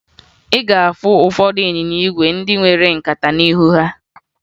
Ị ga-ahụ ụfọdụ ịnyịnya ígwè ndị nwere nkata n'ihu ha